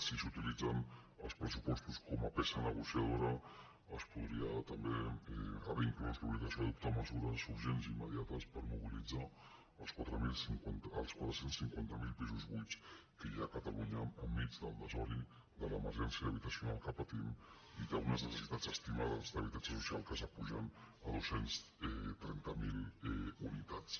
si s’utilitzen els pressupostos com a peça negociadora es podria també haver inclòs l’obligació d’adoptar mesures urgents i immediates per mobilitzar els quatre cents i cinquanta miler pisos buits que hi ha a catalunya enmig del desori de l’emergència habitacional que patim i d’unes necessitats estimades d’habitatge social que pugen a dos cents i trenta miler unitats